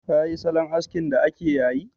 Ka yi salon askin da ake yayi?